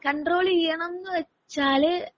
control ചെയ്യണം എന്ന് വെച്ചാല്